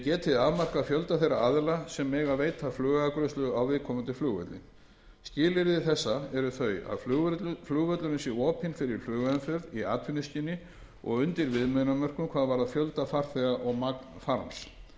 geti afmarkað fjölda þeirra aðila sem mega veita flugafgreiðslu á viðkomandi flugvelli skilyrði þessa eru þau að flugvöllurinn sé opinn fyrir flugumferð í atvinnuskyni og undir viðmiðunarmörkum hvað varðar fjölda farþega og magn farms